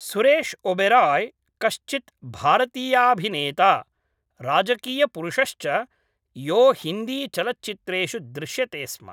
सुरेश् ओबेराय् कश्चित् भारतीयाभिनेता राजकीयपुरुषश्च यो हिन्दीचलच्चित्रेषु दृश्यते स्म